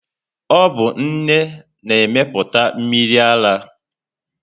Ọ bụ nne na-emepụta mmiri ara.